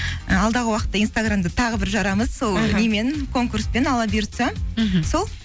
і алдағы уақытта инстаграмды тағы бір жарамыз сол немен конкурспен алла бұйыртса мхм сол